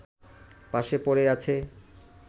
পাশে পড়ে আছে